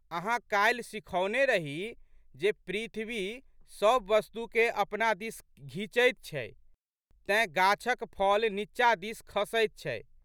अहाँ काल्हि सिखौने रही जे पृथ्वी सब वस्तुकेँ अपना दिस घिचैत छै तेँ गाछक फल नींचा दिस खसैत छै।